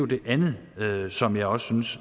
det andet som jeg også synes